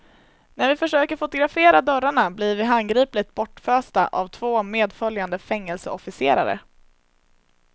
När vi försöker fotografera dörrarna blir vi handgripligt bortfösta av två medföljande fängelseofficerare.